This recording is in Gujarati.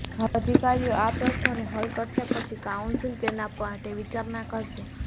હવે અધિકારીઓ આ પ્રશ્નોને હલ કરશે પછી કાઉન્સિલ તેના માટે વિચારણા કરશે